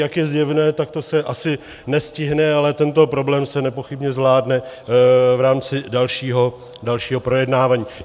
Jak je zjevné, tak to se asi nestihne, ale tento problém se nepochybně zvládne v rámci dalšího projednávání.